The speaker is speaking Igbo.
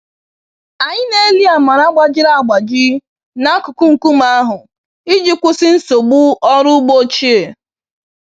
Anyị na-eli amara gbajiri agbaji n'akụkụ nkume ahụ iji kwụsị nsogbu ọrụ ugbo ochie.